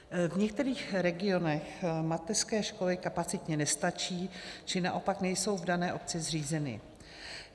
V některých regionech mateřské školy kapacitně nestačí, či naopak nejsou v dané obci zřízeny.